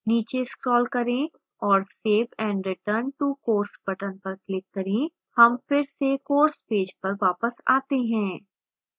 नीचे scroll करे्ं और save and return to course button पर click करें